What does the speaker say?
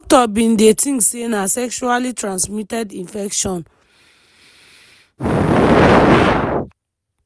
di doctors been dey think say na sexually transmitted infection.